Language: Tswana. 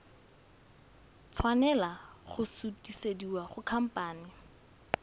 tshwanela go sutisediwa go khamphane